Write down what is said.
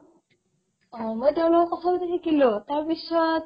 অ, মই তেওঁৰ লগত কথা পাতি থাকিলো তাৰপিছত